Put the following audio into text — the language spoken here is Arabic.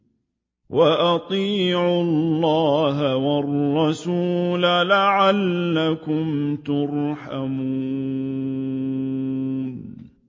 وَأَطِيعُوا اللَّهَ وَالرَّسُولَ لَعَلَّكُمْ تُرْحَمُونَ